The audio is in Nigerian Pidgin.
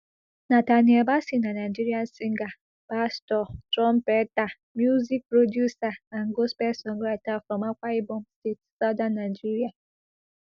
nathaniel bassey na nigerian singer pastor trumpeter music producer and gospel songwriter from akwa ibom state southern nigeria